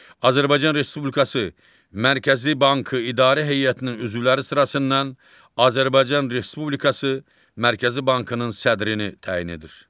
Azərbaycan Respublikası Mərkəzi Bankı İdarə Heyətinin üzvləri sırasından Azərbaycan Respublikası Mərkəzi Bankının sədrini təyin edir.